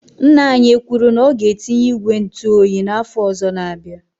Ńnà anyị ekwuru na ọ ga etinye ìgwè ntụ oyi na afọ ọzọ na -abịa?